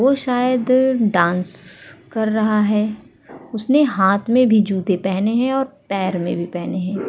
वो शायद डांस कर रहा है। उसने हाथ में भी जूते पहने है और पैर में भी पहने है।